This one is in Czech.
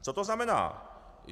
Co to znamená?